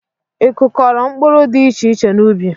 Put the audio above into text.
I kụkọro mkpụrụ dị iche iche n'ubi?